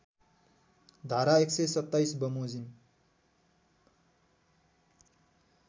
धारा १२७ बमोजिम